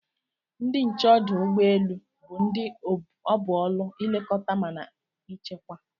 Ndi nche odụ ụgbọ elu bu ndi obu ọlu ilekọta mana echekwa.